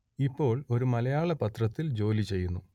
ഇപ്പോൾ ഒരു മലയാള പത്രത്തിൽ ജോലി ചെയ്യുന്നു